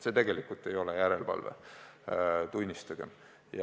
See tegelikult ei ole järelevalve, tunnistagem.